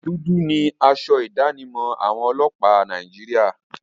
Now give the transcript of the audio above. Dúdú ni asọ ìdánimọ̀ àwọn ọlọ́pàá Nàìjíríà.